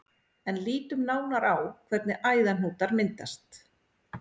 En lítum nánar á hvernig æðahnútar myndast.